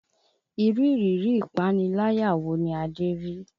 Irú ìrírí ìpaniláyà wo ni Adé rí?